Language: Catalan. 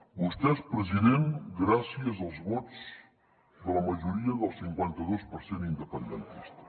vostè és president gràcies als vots de la majoria del cinquanta dos per cent independentista